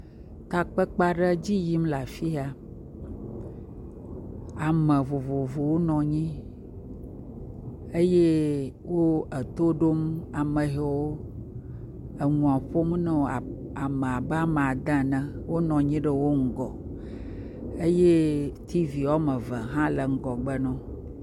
Takpekpe aɖe dzi yim le afi ya, ame vovovowo nɔ anyi eye wo to ɖom ame yiwo enuɔ ƒom na wo, ame abe ame ade ene, wonɔ anyi ɖe wo ŋgɔ eye tivi woame eve hã le ŋgɔgbe na wo.